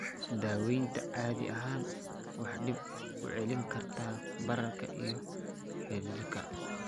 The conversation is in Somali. Daawaynta caadi ahaan waxay dib u celin kartaa bararka iyo cidhiidhiga.